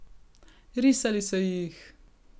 Risali so jih!